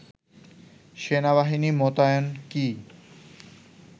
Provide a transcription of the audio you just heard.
সেনাবাহিনী মোতায়েন কি